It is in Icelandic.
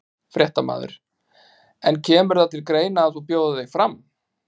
Fréttamaður: En kemur það til greina að þú bjóðir þig fram?